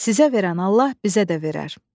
Sizə verən Allah bizə də verər.